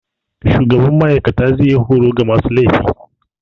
Shugaban ma'aikata zai yi horo ga masu laifi.